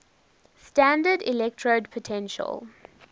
standard electrode potential